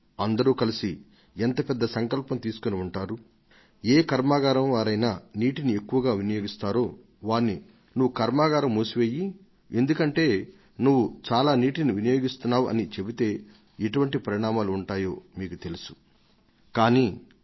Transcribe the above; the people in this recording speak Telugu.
ఇది ఎంత పెద్ద సమష్టి నిర్ణయం అయి ఉంటుందో ఎవరైనా నీటిని ఎక్కువగా వాడే కర్మాగారాల యజమానులకు అటువంటి జల వినియోగం పర్యవసానాలను గురించి చెప్పి వారి యూనిట్లను మూసివేయవలసిందిగా అభ్యర్థిస్తే వచ్చే ప్రతిస్పందన ఎలా ఉంటుందదో ఎవరైనా ఇట్టే ఊహించవచ్చు